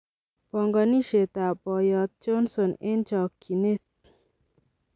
Pongonisiet ab boyot Johnson en chokineet.